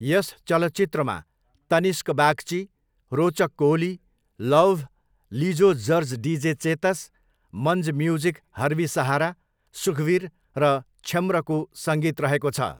यस चलचित्रमा Tanishk Bagchi, Rochak Kohli, Lauv, Lijo George DJ Chetas, Manj music Harbi Sahara, Sukhbir र क्षम्रको सङ्गीत रहेको छ।